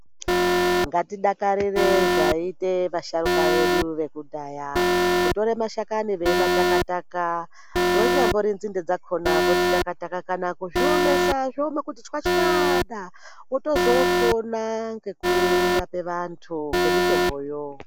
Ngati dakarire zvaite va sharuka vedu vekudhaya kutore mashakani vei mataka taka inyambori nzinde dzakona vodzi taka taka kana kuzvi omesa zvooma kuti chwachwachwada vozoto pona neku rape vantu ne mitombo yo.